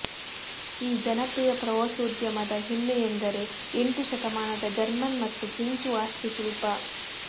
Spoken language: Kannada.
ಈ ಜನಪ್ರಿಯ ಪ್ರವಾಸೋದ್ಯಮದ ಹೆಮ್ಮೆಯೆಂದರೆ ಎಂಟು ಶತಮಾನದ ಜರ್ಮನ್ ಮತ್ತು ಫ್ರೆಂಚ್ ವಾಸ್ತುಶಿಲ್ಪ